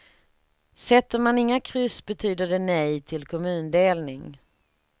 Sätter man inga kryss betyder det nej till kommundelning.